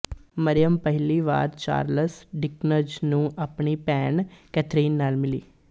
ਮਰਿਯਮ ਪਹਿਲੀ ਵਾਰ Charles Dickens ਨੂੰ ਆਪਣੀ ਭੈਣ ਕੈਥਰੀਨ ਨਾਲ ਮਿਲੀ